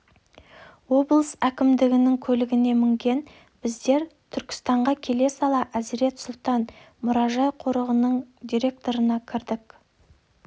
облыс әкімдігінің көлігіне мінген біздер түркістанға келе сала әзірет сұлтан мұражай-қорығының директорына кірдік